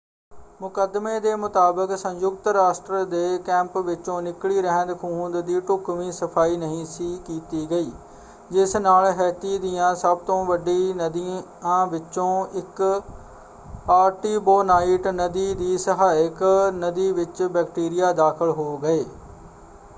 ਮੁਕੱਦਮੇ ਦੇ ਮੁਤਾਬਕ ਸੰਯੁਕਤ ਰਾਸ਼ਟਰ ਦੇ ਕੈਂਪ ਵਿੱਚੋਂ ਨਿੱਕਲੀ ਰਹਿੰਦ-ਖੂਹੰਦ ਦੀ ਢੁਕਵੀਂ ਸਫਾਈ ਨਹੀਂ ਸੀ ਕੀਤੀ ਗਈ ਜਿਸ ਨਾਲ ਹੈਤੀ ਦੀਆਂ ਸਭ ਤੋਂ ਵੱਡੀ ਨਦੀਆਂ ਵਿੱਚੋਂ ਇੱਕ ਆਰਟੀਬੋਨਾਈਟ ਨਦੀ ਦੀ ਸਹਾਇਕ ਨਦੀ ਵਿੱਚ ਬੈਕਟੀਰੀਆ ਦਾਖਲ ਹੋ ਗਏ।